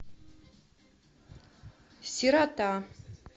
сирота